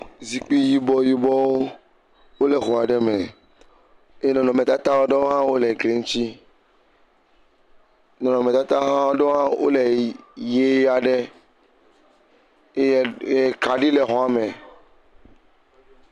Zikpui yibɔ yibɔwo wole xɔ aɖe me eye nɔnɔmetata aɖewo ha wole gli ŋutsi. Nɔnɔmetata ha ɖewoa wole yi yie aɖe eye eye kaɖi le xɔa me.